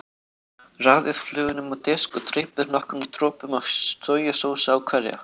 Raðið flögunum á disk og dreypið nokkrum dropum af sojasósu á hverja.